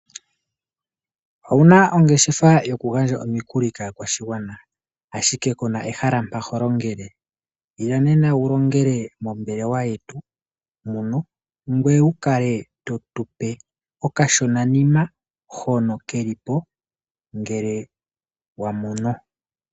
Owuna ongeshefa yo ku gandja omikuli kaakwashigwana, ashike kuna ehala mpa to longele? Ila nena wu longele mombelewa yetu muno, ngoye wu kale to tu pe okashona nima, hono ke li po ngele wa mono.